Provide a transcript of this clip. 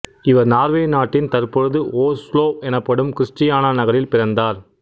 இவர் நார்வே நாட்டின் தற்பொழுது ஓஸ்லோ எனப்படும் கிறிஸ்டியானா நகரில் பிறந்தார்